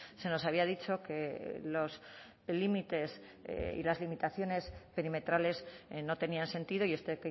se nos había dicho que los límites y las limitaciones perimetrales no tenían sentido y este